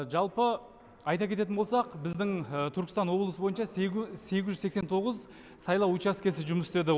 жалпы айта кететін болсақ біздің түркістан облысы бойынша сегіз жүз сексен тоғыз сайлау учаскесі жұмыс істеді